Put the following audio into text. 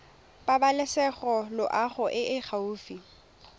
pabalesego loago e e gaufi